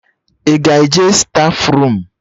Ị ga-eje stafurum?